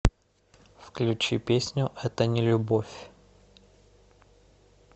включи песню это не любовь